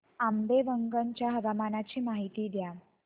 आंबेवंगन च्या हवामानाची माहिती द्या